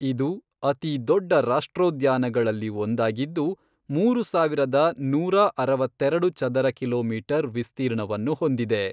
ಇದು ಅತಿ ದೊಡ್ಡ ರಾಷ್ಟ್ರೋದ್ಯಾನಗಳಲ್ಲಿ ಒಂದಾಗಿದ್ದು, ಮೂರು ಸಾವಿರದ ನೂರಾ ಅರವತ್ತೆರೆಡು ಚದರ ಕಿಲೋಮೀಟರ್ ವಿಸ್ತೀರ್ಣವನ್ನು ಹೊಂದಿದೆ.